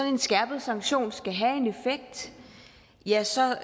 en skærpet sanktion skal have en effekt ja så er